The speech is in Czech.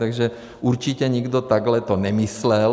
Takže určitě nikdo takhle to nemyslel.